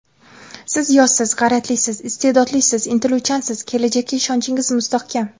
Siz yoshsiz, g‘ayratlisiz, iste’dodlisiz, intiluvchansiz, kelajakka ishonchingiz mustahkam.